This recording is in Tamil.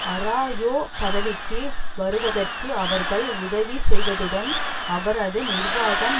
ஆராயோ பதவிக்கு வருவதற்கு அவர்கள் உதவி செய்ததுடன் அவரது நிர்வாகம்